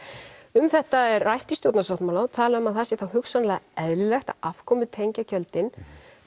um þetta er rætt í stjórnarsáttmála og talað um að það sé þá hugsanlega eðlilegt að afkomutengja gjöldin